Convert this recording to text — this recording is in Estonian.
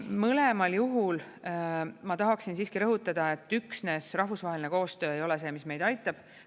Mõlemal juhul ma tahaksin siiski rõhutada, et üksnes rahvusvaheline koostöö ei ole see, mis meid aitab.